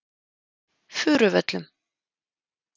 Furuvöllum